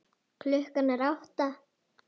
Klukkan er átta.